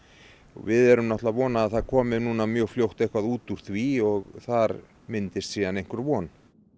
við erum að vona að það komi núna mjög fljótt eitthvað út úr því og þar myndist síðan einhver von